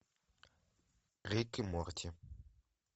рик и морти